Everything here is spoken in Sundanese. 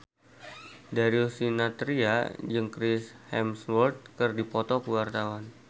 Darius Sinathrya jeung Chris Hemsworth keur dipoto ku wartawan